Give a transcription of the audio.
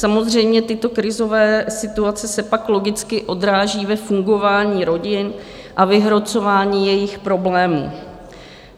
Samozřejmě, tyto krizové situace se pak logicky odráží ve fungování rodin a vyhrocování jejich problémů.